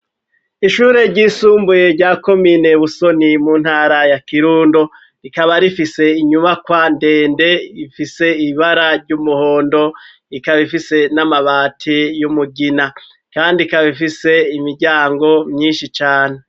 Ishuri ryisumbuye rya komine busoni mu ntara ya Kirundo rikaba rifise inyubakwa ndende ifise ibara ry'umuhondo ikaba ifise n'amabati y'umugina kandi ikaba ifise imiryango myishi cane